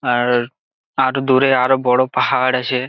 আ-আ-র আর দূরে আরো বড়ো পাহাড় আছে।